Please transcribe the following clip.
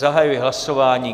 Zahajuji hlasování.